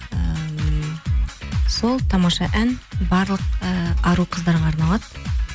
ыыы сол тамаша ән барлық і ару қыздарға арналады